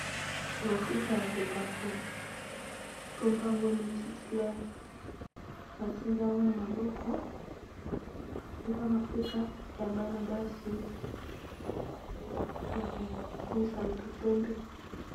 Mafuta ya kopakola, kombo nango mikiclere ba simbi yango na maboko. Eza mafuta ya bana basi, ya kokumisa moto pembe.